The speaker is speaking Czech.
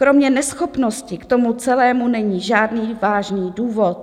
Kromě neschopnosti k tomu celému není žádný vážný důvod.